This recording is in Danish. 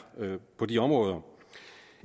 på de områder